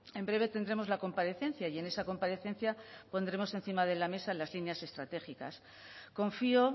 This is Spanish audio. en breve tendremos la comparecencia y en esa comparecencia pondremos encima de la mesa las líneas estratégicas confío